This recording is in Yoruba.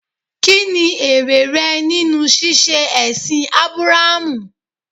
Kí ni èrè rẹ nínú ṣíṣe ẹ̀sìn Ábúráhámù?